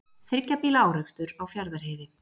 Þriggja bíla árekstur á Fjarðarheiði